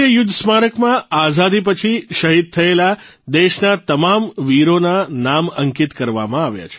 રાષ્ટ્રીય યુદ્ધ સ્મારક માં આઝાદી પછી શહીદ થયેલા દેશના તમામ વીરોના નામ અંકિત કરવામાં આવ્યા છે